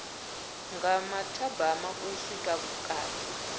nga mathabama u swika vhukati